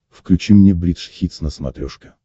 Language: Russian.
включи мне бридж хитс на смотрешке